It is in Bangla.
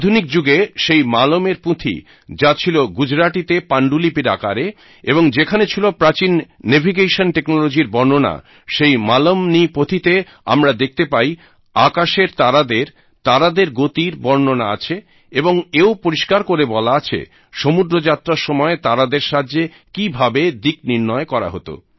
আধুনিক যুগে সেই মালমএর পুঁথি যা ছিল গুজরাটিতে পাণ্ডুলিপির আকারে এবং যেখানে ছিল প্রাচীন নেভিগেশন টেকনোলজি র বর্ণনা সেই মালমনীপোথী তে আমরা দেখতে পাই আকাশের তারাদের তারাদের গতির বর্ণনা আছে এবং এও পরিস্কার করে বলা আছে সমুদ্রযাত্রার সময় তারাদের সাহায্যে কি ভাবে দিকনির্ণয় করা হত